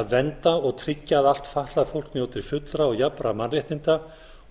að vernda og tryggja að allt fatlað fólk njóti fullra og jafnra mannréttinda og